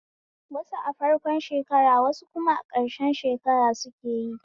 Wasu a farko shekara wasu kuma a ƙarshe shekara sukeyi